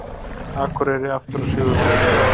Akureyri aftur á sigurbraut